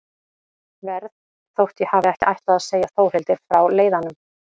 Verð þótt ég hafi ekki ætlað að segja Þórhildi frá leiðanum.